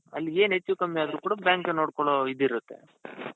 ಅಲ್ಲಿಗೆ ಏನ್ ಹೆಚ್ಚುಕಡಿಮೆ ಆದ್ರು ಕೂಡಾ bank ನೋಡ್ಕೊಳೋ ಇದಿರುತ್ತೆ.